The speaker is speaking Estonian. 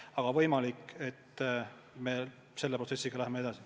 Aga võimalik, et me läheme selle protsessiga edasi.